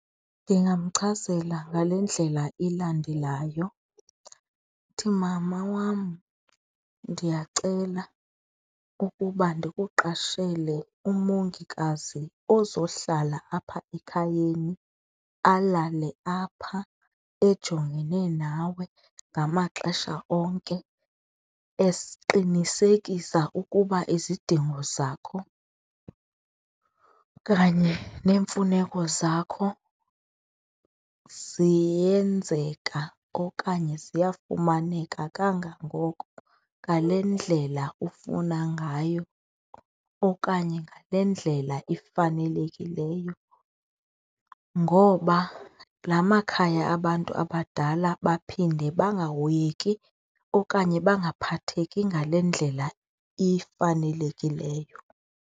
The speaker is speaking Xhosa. Ndingamchazela ngale ndlela ilandelayo ithi, mama wam ndiyacela ukuba ndikuqashele umongikazi ozohlala apha ekhayeni, alale apha ejongene nawe ngamaxesha onke eqinisekisa ukuba izidingo zakho kanye neemfuneko zakho ziyenzeka okanye ziyafumaneka kangangoko ngale ndlela ufuna ngayo okanye ngale ndlela ifanelekileyo. Ngoba laa makhaya abantu abadala baphinde bangahoyeki okanye bangaphatheki ngale ndlela ifanelekileyo.